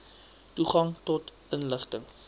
toegang tot inligting